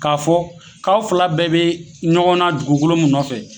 K'a fɔ k'a fila bɛɛ bɛ ɲɔgɔnna dugukolo nɔfɛ.